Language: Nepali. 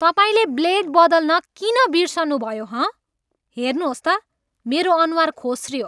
तपाईँले ब्लेड बदल्न किन बिर्सनुभयो हँ? हेर्नुहोस् त मेरो अनुहार खोस्रियो!